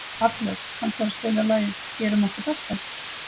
Arnljót, kanntu að spila lagið „Gerum okkar besta“?